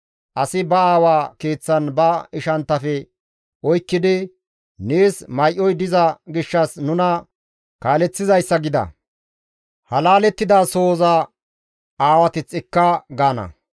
Asi ba aawa keeththan ba ishanttafe oykkidi, «Nees may7oy diza gishshas nuna kaaleththizayssa gida; ha laalettida sohoza aawateth ne ekka» gaana.